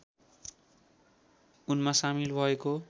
उनमा सामिल भएको